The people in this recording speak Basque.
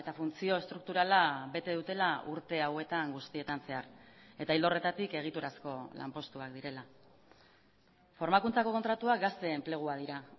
funtzio estrukturala bete dutela urte hauetan guztietan zehar eta ildo horretatik egiturazko lanpostuak direla formakuntzako kontratuak gazte enpleguak dira